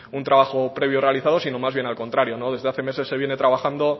un trabajo previo realizado sino más bien al contrario desde hace meses se viene trabajando